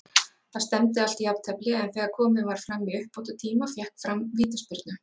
Það stefndi allt í jafntefli, en þegar komið var fram í uppbótartíma fékk Fram vítaspyrnu.